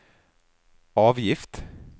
avgift